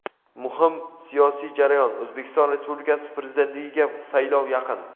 Muhim siyosiy jarayon — O‘zbekiston Respublikasi Prezidentligiga saylov yaqin.